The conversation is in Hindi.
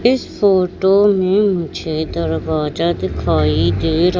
इस फोटो में मुझे दरवाजा दिखाई दे रा--